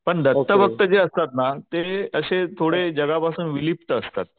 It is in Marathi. पण दत्त भक्त जे असतात ना तसे ते थोडे जगापासून विलिप्त असतात.